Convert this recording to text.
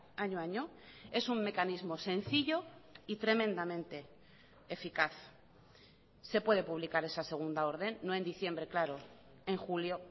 año a año es un mecanismo sencillo y tremendamente eficaz se puede publicar esa segunda orden no en diciembre claro en julio